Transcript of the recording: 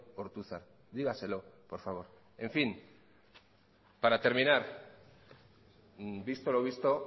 ortuzar dígaselo por favor en fin para terminar visto lo visto